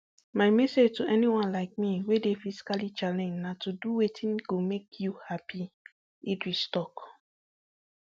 my message to anyone like me wey dey physically challenged na to do wetin go make you happy idris tok